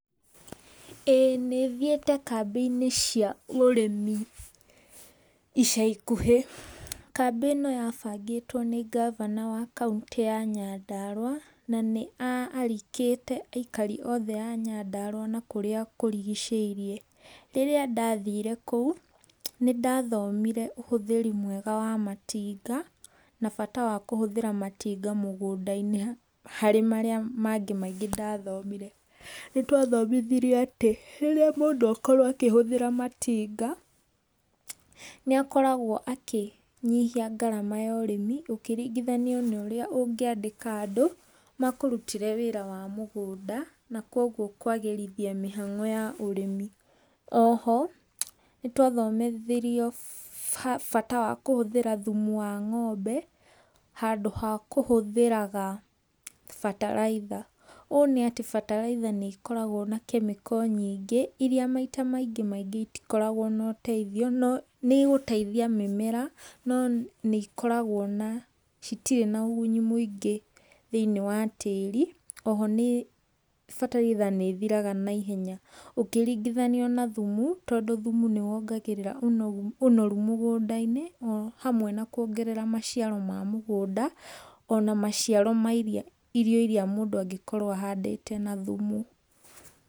ĩĩ nĩ thiĩte kambĩ-inĩ cia ũrĩmi ica ikuhĩ, kambĩ ĩno ya bangĩtwo nĩ ngabana wa kauntĩ ya Nyandarua, na nĩ a arikĩte aikari othe a Nyandarua na kũrĩa kũrigicĩirie. Rĩrĩa ndathire kũu nĩ ndathomire ũhũthĩri mwega wa matinga, na bata wa kũhũthĩra matinga mũgũnda-inĩ harĩ marĩa mangĩ maingĩ ndathomire. Nĩ twathomithirio atĩ rĩrĩa mũndũ akorwo akĩhũthĩra matinga, nĩ akoragwo akĩnyihia ngarama ya ũrĩmi, ũkĩringithanio na ũrĩa ũngĩandĩka andũ, makũrutĩre wĩra wa mũgũnda, na koguo kwagĩrithia mĩhang'o ya ũrĩmi. Oho nĩ twathomithirio bata wa kũhũthĩra thumu wa ng'ombe, handũ ha kũhũthĩraga bataraitha. Ũũ nĩ atĩ bataraitha nĩ ikoragwo na chemical nyingĩ iria maita maingĩ maingĩ itikoragwo na ũteithiO no nĩ igũteithia mĩmera no nĩikoragwo na citirĩ na ũguni mũingĩ thĩinĩ wa tĩri, oho nĩ bataraitha nĩ ithiraga na ihenya ũkĩringithanio na thumu, tondũ thumu nĩ wongagĩrĩra ũnoru mũgũnda-inĩ, o hamwe na kuongerera maciaro ma mũgũnda, ona maciaro ma iria irio iria mũndũ angĩkorwo ahandĩte na thumu.